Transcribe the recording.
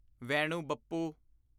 Venu Bappu